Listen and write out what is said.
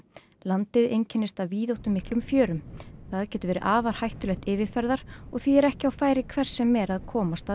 landið einkennist af víðáttumiklum fjörum það getur verið afar hættulegt yfirferðar og því er ekki á færi hvers sem er að komast að